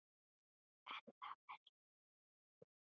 Er það verra fyrir Ísland?